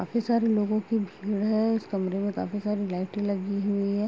काफी सारे लोगों की भीड़ है इस कमरे में काफ़ी सारे लाइटें लगी हुई हैं।